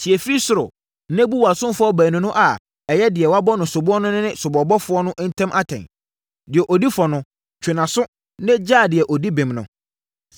tie firi soro, na bu wʼasomfoɔ baanu no a ɛyɛ deɛ wɔabɔ no soboɔ no ne soboɔbɔfoɔ no ntam atɛn. Deɛ ɔdi fɔ no, twe nʼaso na gyaa deɛ ɔdi bem no.